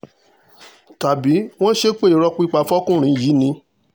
tàbí wọ́n ṣépè irọ́ pípa fọkùnrin yìí ni